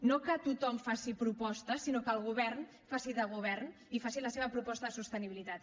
no que tothom faci propostes sinó que el govern faci de govern i faci la seva proposta de sostenibilitat